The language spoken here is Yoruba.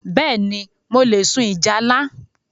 Bẹ́ẹ̀ni, mo le sun ìjálá